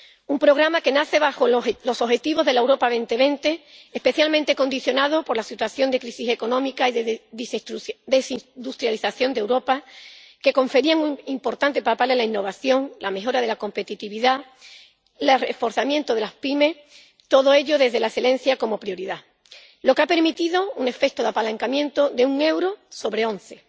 Un programa que nace bajo los objetivos de la Estrategia Europa 2020, especialmente condicionado por la situación de crisis económica y de desindustrialización de Europa, que confería un importante papel a la innovación, la mejora de la competitividad, el reforzamiento de las pymes. Todo ello desde la excelencia como prioridad, lo que ha permitido un efecto de apalancamiento de un euro sobre once.